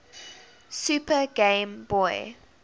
super game boy